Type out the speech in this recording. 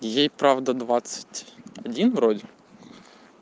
ей правда двадцать один вроде